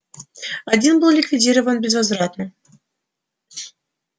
один был ликвидирован безвозвратно